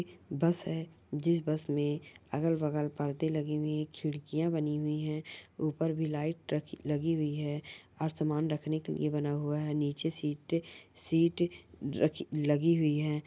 बस है जिस बस में अगल- बगल पर्दे लगे हुए है खिड़कियाँ बनी हुई है ऊपर भी लाईट रखी-- लगी हुई है और सामान रखने के लिए बना हुआ है और नीचे सीटे-- सीट रखी-- लगी हुई है।